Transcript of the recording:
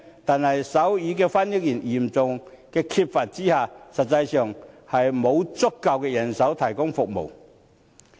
可是，手語翻譯員嚴重缺乏，實際上沒有足夠人手提供服務。